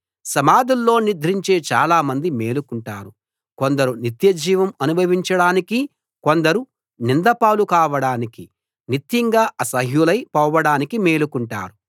సమాధుల్లో నిద్రించే చాలా మంది మేలుకుంటారు కొందరు నిత్యజీవం అనుభవించడానికి కొందరు నిందపాలు కావడానికి నిత్యంగా అసహ్యులై పోవడానికి మేలుకుంటారు